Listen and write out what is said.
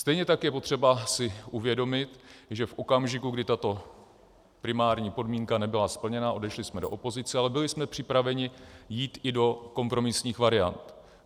Stejně tak je potřeba si uvědomit, že v okamžiku, kdy tato primární podmínka nebyla splněna, odešli jsme do opozice, ale byli jsme připraveni jít i do kompromisních variant.